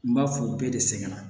N b'a fɔ bɛɛ de sɛgɛnna